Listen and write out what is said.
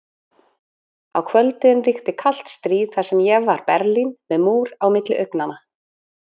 Á kvöldin ríkti kalt stríð þar sem ég var Berlín, með múr á milli augnanna.